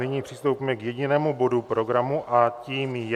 Nyní přistoupíme k jedinému bodu programu a tím je